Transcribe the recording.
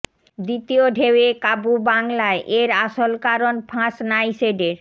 দ্বিতীয় ঢেউয়ে কাবু বাংলায় এর আসল কারণ ফাঁস নাইসেডের